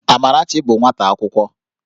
Amarachi bụ nwata akwụkwọ